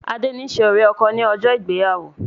Adé ni ṣe ọ̀rẹ́-ọkọ ni ọjọ́ ìgbéyàwó